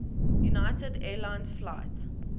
united airlines flight